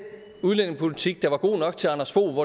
udlændingepolitik der var god nok til anders fogh